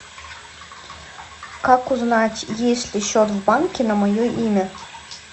как узнать есть ли счет в банке на мое имя